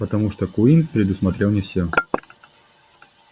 потому что куинн предусмотрел не всё